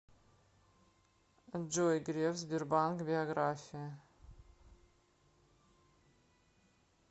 джой греф сбербанк биография